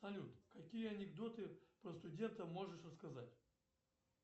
салют какие анекдоты про студентов можешь рассказать